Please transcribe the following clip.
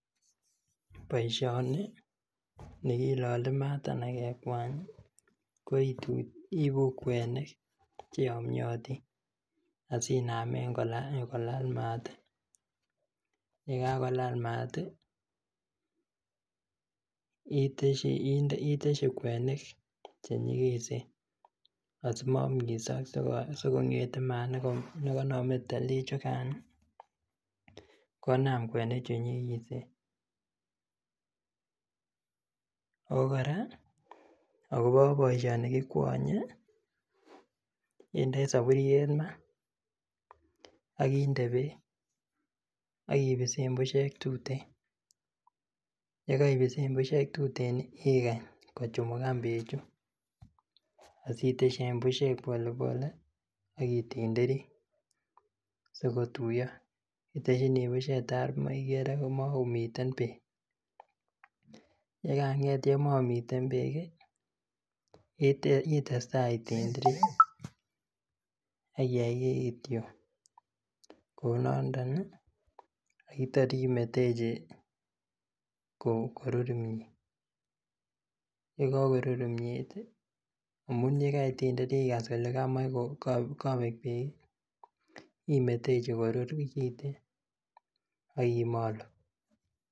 Boisioni nikilole maat anan kekwany ih ko iibu kwenik cheyomyotin asinamen kolal maat, yekakolal maat ih itesyi kwenik chenyikisen asimomisok asikong'ete maat nekonome tielik chukan ih konaam kwenik chenyigisen ako kora akobo boisioni kikwonye indoi soburiet maa ak inde beek ak ibisen busiek tuten yekeibisen busiek tuten ikany kochumukan beechu asitesyi any busiek pole pole ak itindiri sikotuiyo itesyini busiek tar ikere makomiten beek yekang'et yemomomiten beek ih itestaa itindiri akiyai kityok kounondon ih ak tor imetechi korur kimiet yekorur kimiet ih amun yekaitindir ikas kole kamach kobek beek ih imetechi korur kiten ak imolu.